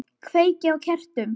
Kveiki á kertum.